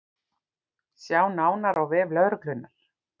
Sjá nánar á vef lögreglunnar